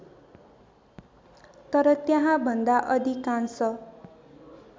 तर त्यहाँभन्दा अधिकांश